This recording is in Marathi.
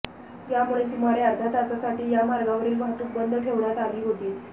यामुळे सुमारे अर्ध्या तासासाठी या मार्गावरील वाहतूक बंद ठेवण्यात आली होती